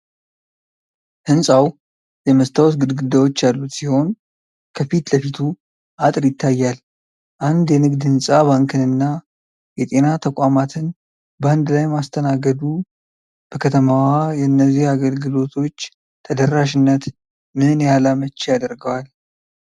ሕንፃው የመስታወት ግድግዳዎች ያሉት ሲሆን፣ ከፊት ለፊቱ አጥር ይታያል። አንድ የንግድ ሕንፃ ባንክንና የጤና ተቋማትን በአንድ ላይ ማስተናገዱ በከተማዋ የእነዚህ አገልግሎቶች ተደራሽነት ምን ያህል አመቺ ያደርገዋል?